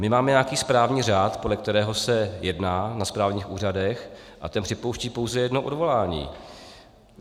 My máme nějaký správní řád, podle kterého se jedná na správních úřadech, a ten připouští pouze jedno odvolání.